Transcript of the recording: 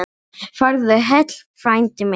Farðu heill, frændi minn.